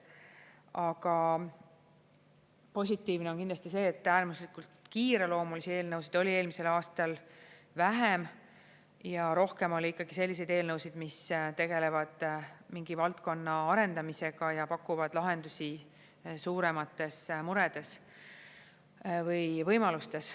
Aga positiivne on kindlasti see, et äärmuslikult kiireloomulisi eelnõusid oli eelmisel aastal vähem ja rohkem oli ikkagi selliseid eelnõusid, mis tegelevad mingi valdkonna arendamisega ja pakuvad lahendusi suuremates muredes või võimalustes.